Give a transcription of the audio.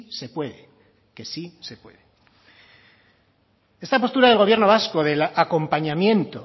se puede que sí se puede esta postura del gobierno vasco del acompañamiento